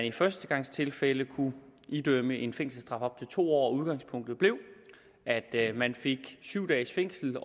i førstegangstilfælde kunne idømmes en fængselsstraf på op til to år og udgangspunktet blev at at man fik syv dages fængsel